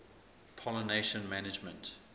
pollination management